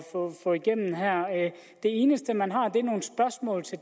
få igennem her det eneste man har